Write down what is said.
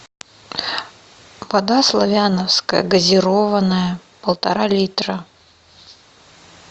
вода славяновская газированная полтора литра